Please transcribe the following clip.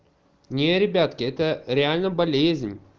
не ребятки это реально болезнь